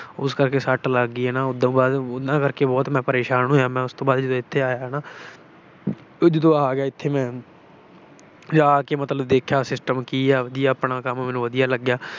ਉਸ ਕਰਕੇ ਸੱਟ ਲੱਗ ਗਈ। ਉਹਨਾਂ ਕਰਕੇ ਬਹੁਤ ਪਰੇਸ਼ਾਨ ਮੈਂ ਹੋਇਆ। ਮੈਂ ਉਸ ਤੋਂ ਬਾਅਦ ਜਦੋਂ ਇੱਥੇ ਆਇਆ ਨਾ ਤੇ ਜਦੋਂ ਆ ਗਿਆ ਇੱਥੇ ਮੈਂ ਕਿ ਆ ਕੇ ਦੇਖਿਆ system ਕੀ ਆ, ਕੰਮ ਮੈਨੂੰ ਵਧੀਆ ਲੱਗਿਆ।